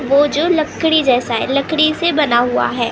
वो जो लकड़ी जैसा है लकड़ी से बना हुआ है।